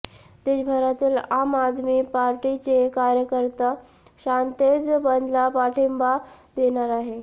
देशभरातील आम आदमी पार्टीचे कार्यकर्ते शांततेत बंदला पाठिंबा देणार आहे